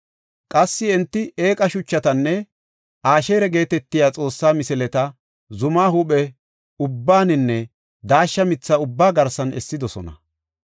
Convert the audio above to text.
Qassi enti eeqa shuchatanne Asheera geetetiya xoosse misileta zuma huuphe ubbaaninne daashsha mitha ubbaa garsan essidosona.